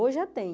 Hoje já tem.